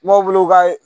Mɔw be ka